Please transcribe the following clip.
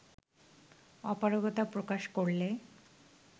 অপারগতা প্রকাশ করলে